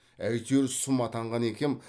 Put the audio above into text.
әйтеуір сұм атанған екем